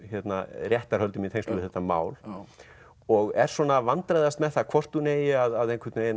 réttarhöldum í tengslum við þetta mál og er svona að vandræðast með það hvort hún eigi að